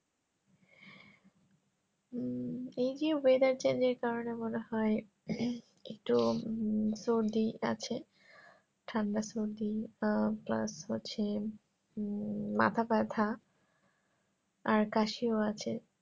হম এই জি weather change এর কারণে মনে হয় একটু উম সর্দি আছে ঠান্ডা সর্দি আহ আছে উম মাথা ব্যাথা আর কাশিও আছে